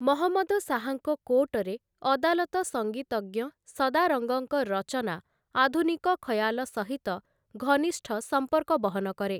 ମହମ୍ମଦ ଶାହାଙ୍କ କୋର୍ଟରେ ଅଦାଲତ ସଙ୍ଗୀତଜ୍ଞ ସଦାରଙ୍ଗଙ୍କ ରଚନା ଆଧୁନିକ ଖୟାଲ ସହିତ ଘନିଷ୍ଠ ସମ୍ପର୍କ ବହନ କରେ ।